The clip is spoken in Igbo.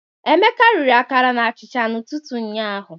Emeka riri akara na achịcha n'ụtụtụ ụnyaahụ.